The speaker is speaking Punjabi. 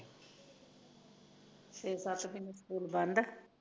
ਫਿਰ ਸੱਤ ਮਹੀਨੇ ਫੋਨ ਬੰਦ ਐ